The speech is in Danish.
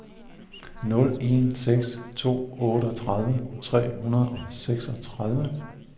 nul en seks to otteogtredive tre hundrede og seksogtredive